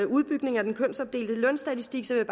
udbygning af den kønsopdelte lønstatistik vil